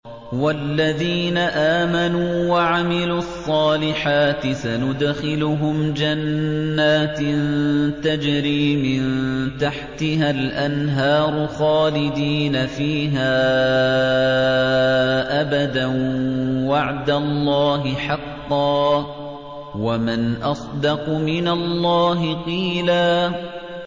وَالَّذِينَ آمَنُوا وَعَمِلُوا الصَّالِحَاتِ سَنُدْخِلُهُمْ جَنَّاتٍ تَجْرِي مِن تَحْتِهَا الْأَنْهَارُ خَالِدِينَ فِيهَا أَبَدًا ۖ وَعْدَ اللَّهِ حَقًّا ۚ وَمَنْ أَصْدَقُ مِنَ اللَّهِ قِيلًا